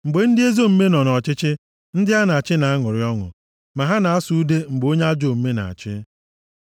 Mgbe ndị ezi omume nọ nʼọchịchị, ndị a na-achị na-aṅụrị ọṅụ, ma ha na-asụ ude mgbe onye ajọ omume na-achị.